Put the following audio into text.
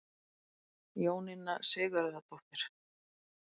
Jóninna Sigurðardóttir.